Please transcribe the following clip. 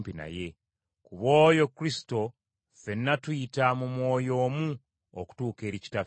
Ku bw’oyo Kristo ffenna tuyita mu Mwoyo omu okutuuka eri Kitaffe.